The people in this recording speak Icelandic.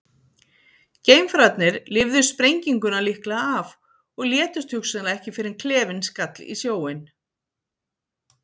Geimfararnir lifðu sprenginguna líklega af og létust hugsanlega ekki fyrr en klefinn skall í sjóinn.